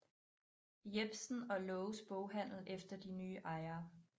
Jepsen og Laages Boghandel efter de nye ejere